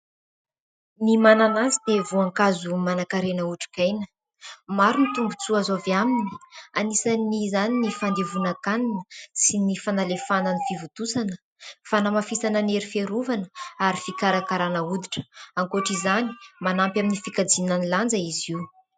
Ny mananasy dia voankazo manan-karena otrikaina, maro ny tombontsoa azo avy aminy, anisan'izany : ny fandevonan-kanina sy ny fanalefahana ny fivontosana, fanamafisana ny hery fiarovana ary fikarakarana hoditra. Ankoatr'izany, manampy amin'ny fikajiana ny lanja izy io.